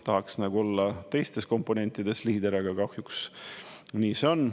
Tahaks nagu olla teistes komponentides liider, aga kahjuks nii see on.